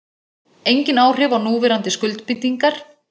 Engin áhrif á núverandi skuldbindingar